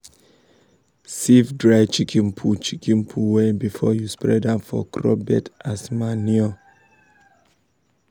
sieve dry chicken poo chicken poo well before you spread am for crop bed as manure.